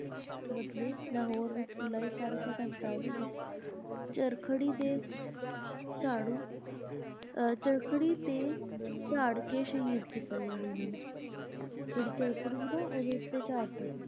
ਬਦਲੇ ਲਾਹੌਰ ਵਿੱਚ ਜੁਲਾਈ ਸਤਾਰਾਂ ਸੋ ਸੰਤਾਲੀ ਵਿੱਚ ਚਰਖੜੀ ਦੇ ਚਾੜ ਅਹ ਚਰੱਖੜੀ ਤੇ ਚਾੜ ਕੇ . ਸ਼ਹੀਦ ਕੀਤਾ ਗਿਆ ਸੀ ਇਹਨਾਂ ਨੂੰ, ਜਿਹੜੀ ਚਰੱਖੜੀ ਸੀ ਨਾ ਓਹਦੇ ਉੱਤੇ ਚਾੜ੍ਹਤਾ ਸੀ।